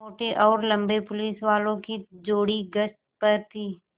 मोटे और लम्बे पुलिसवालों की जोड़ी गश्त पर थी